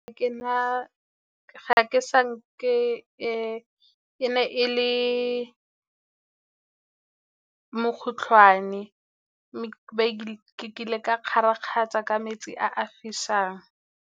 E ne e le mokgotlhwane ke ile ka kgarakgatsha ka metsi a a fisang.